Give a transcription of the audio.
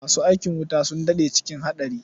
Masu aikin wuta sun daɗe cikin haɗari.